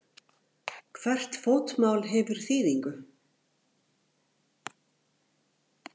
Hvert fótmál hefur þýðingu.